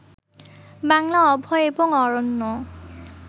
বাংলা অভয় এবং অরণ্য